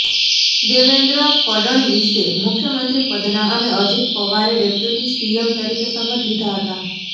દેવેન્દ્ર ફડણવીસે મુખ્યમંત્રી પદના અને અજિત પવારે ડેપ્યૂટી સીએમ તરીકે શપથ લીધા હતા